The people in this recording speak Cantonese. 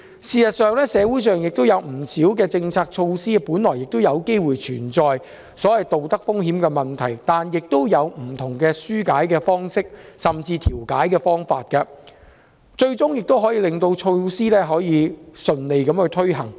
事實上，社會不少政策措施本來就有機會存在所謂道德風險的問題，但也有不同的紓解方式，甚至調解方法，最終也可令措施順利推行。